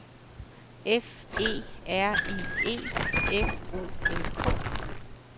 F E R I E F O L K